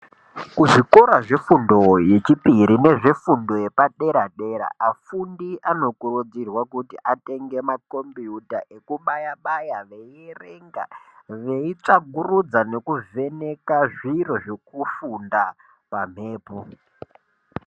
Kuzvikora zvefundo yechipiri neyedera dera afundi anokurudzirwa kuti atenge makombiyuta ekubaya baya veierenga veitsvagurudza zviro zvekufunda pamhepo.